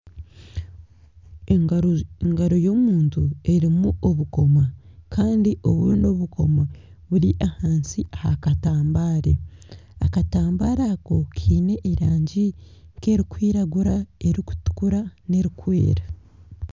Engaro y'omuntu erimu obukomo Kandi obundi obukomo buri ahansi aha katambara. Akatambara ako kiine erangi nka erikwiragura, erikutukura n'erikwera.